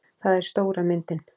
Það er stóra myndin.